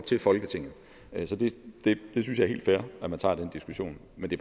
til folketinget jeg synes det er helt fair at man tager den diskussion men det